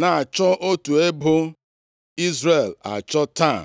na-achọ otu ebo Izrel achọ taa?”